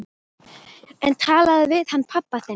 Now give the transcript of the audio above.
En talaðu við hann pabba þinn.